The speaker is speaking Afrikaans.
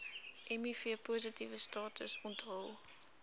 mivpositiewe status onthul